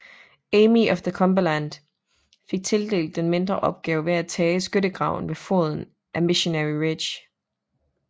Army of the Cumberland fik tildelt den mindre opgave med at tage skyttegravene ved foden af Missionary Ridge